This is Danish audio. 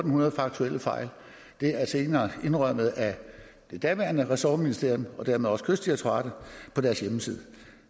hundrede faktuelle fejl det er senere indrømmet af det daværende ressortministerium og dermed også af kystdirektoratet på deres hjemmeside